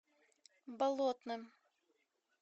болотным